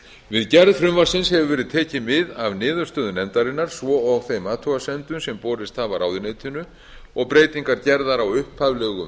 við gerð frumvarpsins hefur verið tekið mið af niðurstöðum nefndarinnar svo og þeim athugasemdum sem borist hafa ráðuneytinu og breytingar gerðar á upphaflegum